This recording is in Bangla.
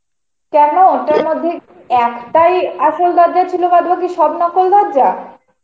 কেন ওটার মধ্যে, একটাই আসল দরজা ছিল বাদ বাকি সব নকল দরজা?